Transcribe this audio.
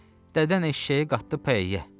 Dədən eşşəyi qatdı pəyəyə.